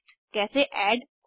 हमसे जुड़ने के लिए धन्यवाद